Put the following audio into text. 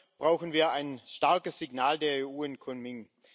Dafür brauchen wir ein starkes Signal der EU in Kunming.